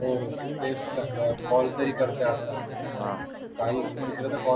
हो call तरी करते आता हा काही मित्रा ला call